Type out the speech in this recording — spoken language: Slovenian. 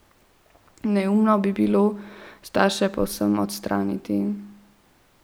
Neumno bi bilo starše povsem odstraniti.